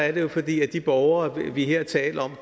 er det fordi at de borgere vi her taler om